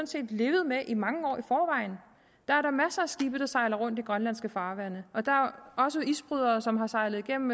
set levet med i mange år i forvejen der er da masser af skibe der sejler rundt i grønlandske farvande og der er også isbrydere som har sejlet igennem